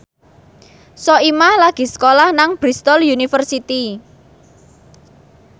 Soimah lagi sekolah nang Bristol university